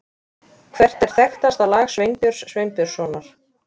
Hvert er þekktasta lag Sveinbjörns Sveinbjörnssonar?